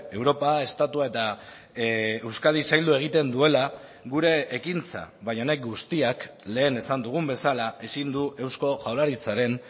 europa estatua eta euskadi zaildu egiten duela gure ekintza baina honek guztiak lehen esan dugun bezala ezin du eusko jaurlaritzaren